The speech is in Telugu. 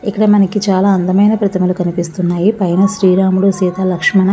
ఇక్కడ మనకి చాలా అందమైన ప్రతిమలు కనిపిస్తున్నాయి పైన శ్రీ రాముడు సీత లక్ష్మన--